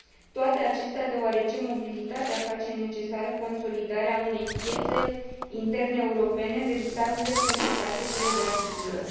Toate acestea deoarece mobilitatea face necesară consolidarea unei piețe interne europene veritabilă pentru pachetele de asigurări.